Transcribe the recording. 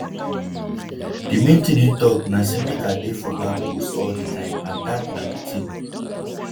"di main tin im tok na say make i dey for back post all di time and dat na di tin